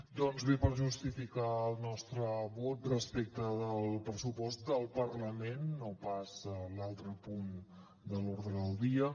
doncs bé per justificar el nostre vot respecte del pressupost del parlament no pas l’altre punt de l’ordre del dia